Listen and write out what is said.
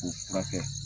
K'o furakɛ